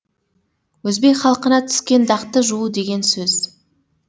өзбек халқына түскен дақты жуу деген сөз